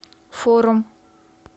форум